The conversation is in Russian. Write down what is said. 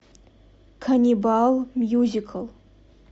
каннибал мьюзикл